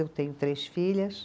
Eu tenho três filhas.